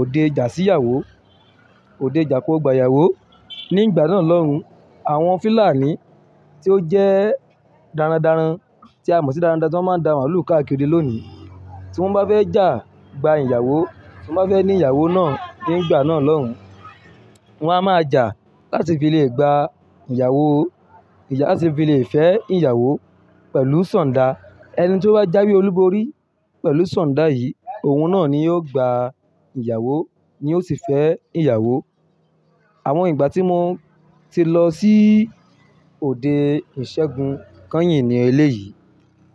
òde já sí ìyàwó, òde jà kí ó gba ìyàwó. Ní ìgbà náà lọ́hun, àwọn fìlàní tí ó jẹ́ darandaran tí a mọ̀ sí darandaran tí wọ́n máa ń da màlúù káàkiri òde lónìí, tí wọ́n bá fẹ́ jà gba ìyàwó, tí wọ́n bá fẹ́ ní ìyàwó náà ní ìgbà náà lọ́hun, wọ́n á máa jà láti fi lè gba ìyàwó, wón fé ìyàwó pèlú sàn dá. Ẹni tí ó bá jáwé olúborí pẹ̀lú sọ̀ndà yìí, òun náà ni yóò gba ìyàwó ni yóò sì fẹ́ ìyàwó. Àwọn ìgbà tí mo ti lọ sí òde ìṣẹ́gun kányìn ní èyí.